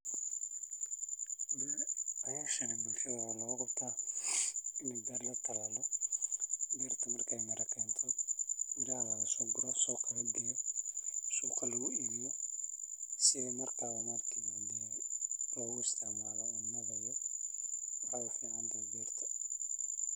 Hishan waa hol utaho ini beer latalalo beerta marki ee mira kento miraha lasoguro suqa aya lageynaya suqa lagu ibiyo si marka logu istimalo waxee u ficantahay beerta.